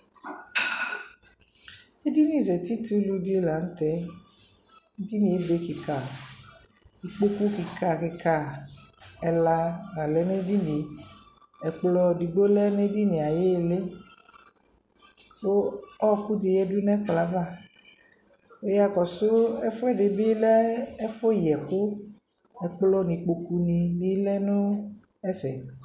ɛdini zati tʋlʋ di lantɛ, ɛdiniɛ ɛbɛ kikaa, ikpɔkʋ kika kika ɛla la lɛnʋ ɛdiniɛ ɛkplɔ ɛdigbɔ lɛnʋ ɛdiniɛ ayili kʋ ɔkʋ di yɛdʋ nʋ ɛkplɔɛ aɣa, wʋ yakɔsʋ ɛƒʋɛdi bilɛ ɛƒʋ yɛkʋ, ɛkplɔ nʋ ikpɔkʋ bi lɛnʋ ɛƒɛ